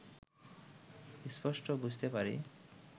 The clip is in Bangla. স্পষ্ট বুঝতে পারি